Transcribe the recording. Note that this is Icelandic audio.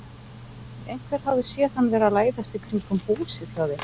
Einhver hafði séð hann vera að læðast í kringum húsið hjá þér.